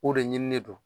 O de ɲini don